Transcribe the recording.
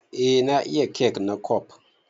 Eh na iya kek na kwaf.